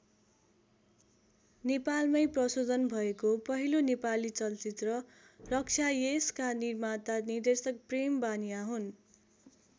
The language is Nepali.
नेपालमै प्रशोधन भएको पहिलो नेपाली चलचित्र रक्षा यसका निर्माता निर्देशक प्रेम बानियाँ हुन्।